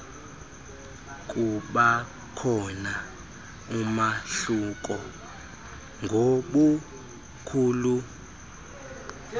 kubakhona umahluko ngobukhulu